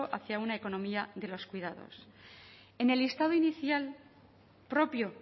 hacia una economía de los cuidados en el listado inicial propio